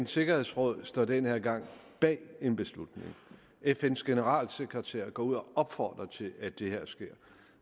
sikkerhedsråd står denne gang bag en beslutning fns generalsekretær er gået ud og har opfordret til at det her sker